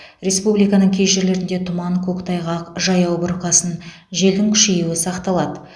республиканың кей жерлерінде тұман көктайғақ жаяу бұрқасын желдің күшеюі сақталады